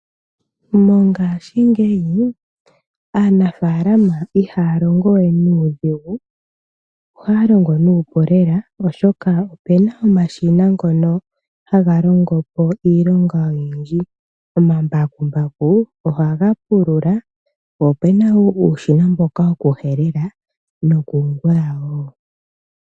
Mongashingeyi aanafaalama ihaya longo we nuudhigu, ohaya longo nuupu lela, oshoka opena omashina ngono haga longopo iilonga oyindji. Omambakumbaku ohaga pulula, po opena wo uushina mboka woku helela noku gwaya wo.